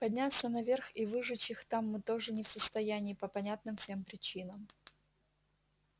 подняться наверх и выжечь их там мы тоже не в состоянии по понятным всем причинам